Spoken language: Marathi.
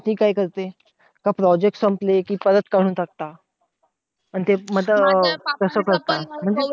काय करते, Project संपले कि परत काढून टाकतात. पण ते मग तसं करता